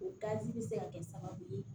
O bɛ se ka kɛ sababu ye